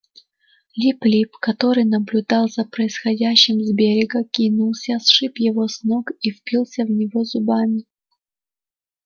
лип лип который наблюдал за происходящим с берега кинулся сшиб его с ног и впился в него зубами